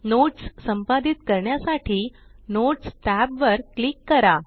notes संपादित करण्यासाठी notes tab वर क्लिक करा